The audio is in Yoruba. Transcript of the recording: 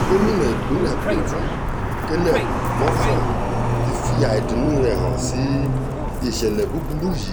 gomina ìpínlẹ̀ plateau caleb mutfwang ti fi àìdùnnú rẹ̀ hàn sí ìṣẹ̀lẹ̀ burúkú yìí